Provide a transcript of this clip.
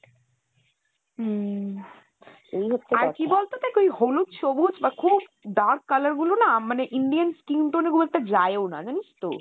হম এই হচ্ছে কথা হলুদ সবুজ বা খুব dark color গুলো না মানে Indian skin tone গুলোতে যায় ও না জানিস তো?